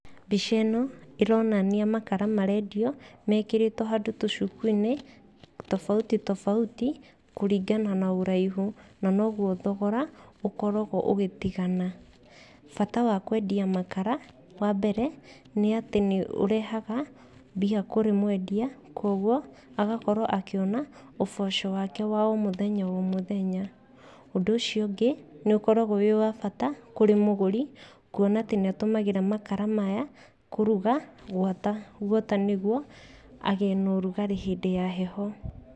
Mbica ĩno, ĩronania makara marendio, mekĩrĩtwo handũ tũcukuinĩ tofauti tofauti kũringana na ũraihu, na noguo thogora ũkoragwo ũgĩtigana. Bata wa kwendia makara, wambere nĩ atĩ nĩ ũrehaga mbia kũrĩ mwendia, koguo agakorwo akĩona ũboco wake wa o mũthenya o mũthenya, ũndũ ũcio ũngĩ, nĩ ũkoragwo wĩ wa bata kũrĩ mũgũri, kuona atĩ nĩ atũmagĩra makara maya kũruga gwata guota nĩguo agĩe na ũrugarĩ hĩndĩ ya heho.